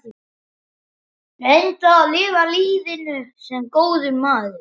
Reyndu að lifa lífinu- sem góður maður.